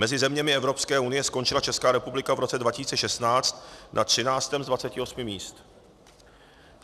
Mezi zeměmi Evropské unie skončila Česká republika v roce 2016 na 13. z 28 míst.